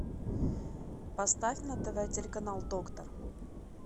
поставь на тв телеканал доктор